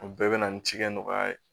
O bɛɛ bɛ na ni cikɛ nɔgɔya ye